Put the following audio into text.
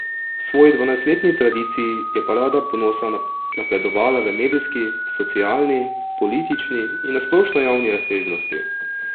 V svoji dvanajstletni tradiciji je Parada ponosa napredovala v medijski, socialni, politični in na splošno javni razsežnosti.